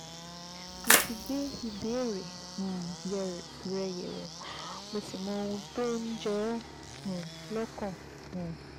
Mo ti gbé ìbéèrè um rẹ yẹ̀wò, mo sì mọ ohun tó ń jẹ ọ́ um lọ́kàn um